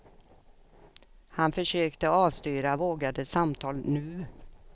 Han försökte avstyra vågade samtal nu.